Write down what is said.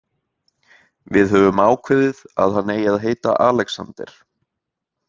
Við höfum ákveðið að hann eigi að heita Alexander.